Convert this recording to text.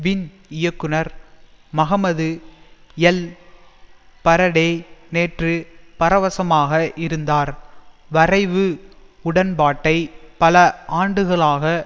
win இயக்குனர் Mohamed ElBaradei நேற்று பரவசமாக இருந்தார் வரைவு உடன்பாட்டை பல ஆண்டுகளாக